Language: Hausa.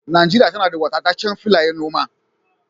Najeriya tana da wadataccen filayen noma